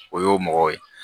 O y'o mɔgɔ ye